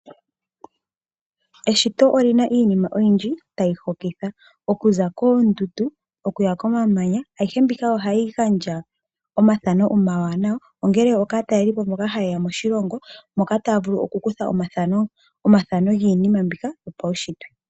Eshito olina iinima oyindji tayi hokitha. Okuza koondundu nokuya komamanya. Ayihe mbika ohayi gandja ethamo ewanawa kaatalelipo mboka haye ya moshilongo yo taya vulu oku kutha omathano giinima mboka yopawushitwe.